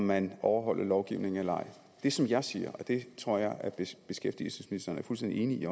man overholder lovgivningen eller ej det som jeg siger og det tror jeg beskæftigelsesministeren er fuldstændig enig i